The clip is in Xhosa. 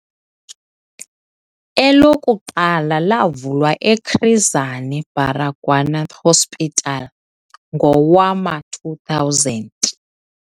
Elokuqala lavulwa eChris Hani Baragwanath Hospital ngowama-2000.